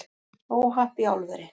Óhapp í álveri